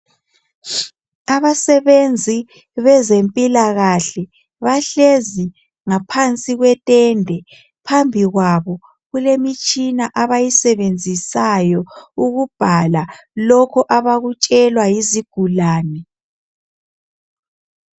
Abasebenzi bezempilakahle bahlezi ngaphansi kwetende phambi kwabo kulemitshina abayisebenzisayo ukubhala lokho abakutshelwa yezigulane.